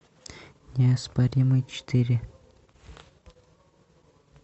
неоспоримый четыре